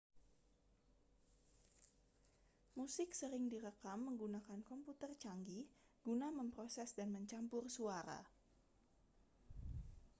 musik sering direkam menggunakan komputer canggih guna memproses dan mencampur suara